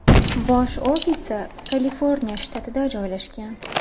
Bosh ofisi Kaliforniya shtatida joylashgan.